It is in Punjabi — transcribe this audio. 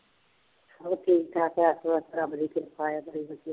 ਹੋਰ ਠੀਕ ਠਾਕ ਬਸ ਬਸ ਰੱਬ ਦੀ ਕਿਰਪਾ ਆ